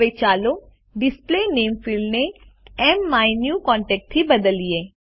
હવે ચાલો ડિસ્પ્લે નામે ફિલ્ડને માયન્યુકોન્ટેક્ટ થી બદલીએ